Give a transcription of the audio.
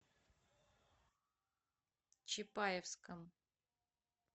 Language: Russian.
чапаевском